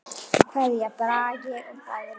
Kveðja, Bragi og Dagný.